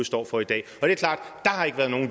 ja altså